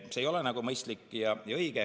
See ei ole mõistlik ja õige.